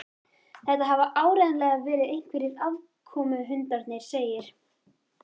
Þetta hafa áreiðanlega verið einhverjir aðkomuhundarnir segir